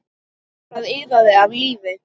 Það iðaði af lífi.